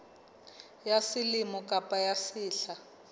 ya selemo kapa ya sehla